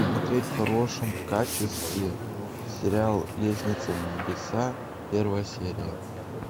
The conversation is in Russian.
смотреть в хорошем качестве сериал лестница в небеса первая серия